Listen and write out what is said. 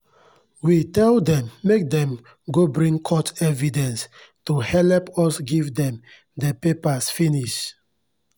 we tell dem make dem go bring court evidence to helep ud give dem dey papars finis